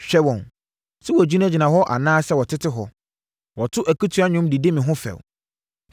Hwɛ wɔn! Sɛ wɔgyinagyina hɔ anaa sɛ wɔtete hɔ, wɔto akutia nnwom de di me ho fɛw.